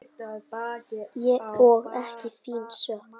Og ekki þín sök.